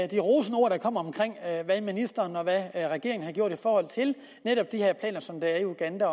de rosende ord der kom om hvad ministeren og regeringen har gjort i forhold til netop de her planer som der er i uganda